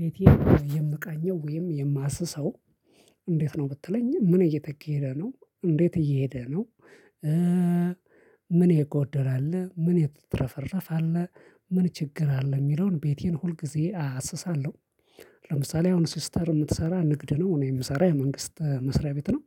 ቤቴ የምቃኘው ወይም የማስሰው። እንዴት ነው ብትለኝ ምን እየተኬደ ነው እንዴት እየሄደ ነው? ምን የጎደለ አለ ምን የተትረፈረፈ አለ? ምን ችግር አለ የሚለውን ቤቴን ሁል ጊዜ አሰሳለሁ። ለምሳሌ አሁን ሲስተር የምትሰራ ንግድ ነው እኔ የምሰራ የመንግስት መስሪያ ቤት ነው።